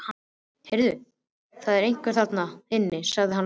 Heyrðu, það er einhver þarna inni sagði hann lágt.